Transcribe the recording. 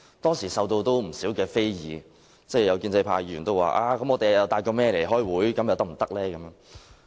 當時受到不少人非議，有建制派議員說："我們帶'某某'來開會，又可不可以呢？